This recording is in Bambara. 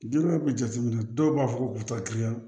Juguya bɛ jateminɛ dɔw b'a fɔ ko taa kiliyan